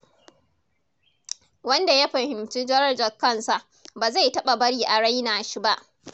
Wanda ya fahimci darajar kansa, ba zai taɓa bari a raina shi ba.